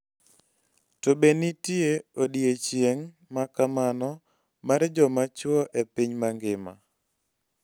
To be nitie odiechieng ' ma kamano mar joma chwo e piny mangima?